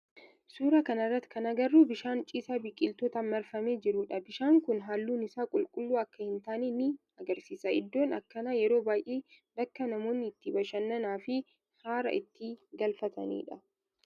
Suuraa kana irratti kan agarru bishaan ciisaa biqiltootan marfamee jirudha. Bishaan kun halluun isaa qulqulluu akka hin taane ni agarsiisa. Iddoon akkanaa yeroo baayyee bakka namoonni itti bashannananii fi haara itti galfatanidha.